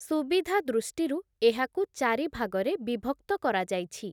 ସୁବିଧା ଦୃଷ୍ଟିରୁ ଏହାକୁ ଚାରିଭାଗରେ ବିଭକ୍ତ କରାଯାଇଛି ।